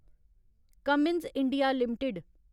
Cummins India limited